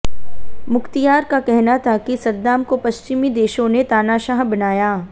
मुख्तियार का कहना था कि सद्दाम को पश्चिमी देशों ने तानाशाह बनाया